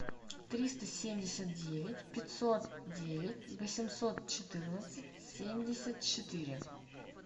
триста семьдесят девять пятьсот девять восемьсот четырнадцать семьдесят четыре